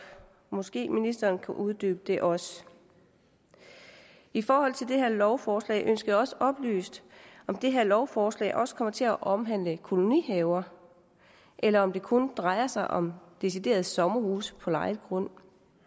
måske kan ministeren uddybe det også i forhold til det her lovforslag ønsker jeg også oplyst om det her lovforslag også kommer til at omhandle kolonihaver eller om det kun drejer sig om decideret sommerhuse på lejet grund